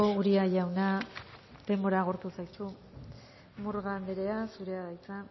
uria jauna denbora agortu zaizu murga andrea zurea da hitza